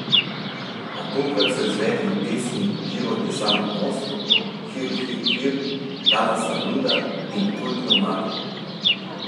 A tokrat so izvedli pesmi Život je samo most, Hir hir hir, Danas sam luda in kultno Maglo.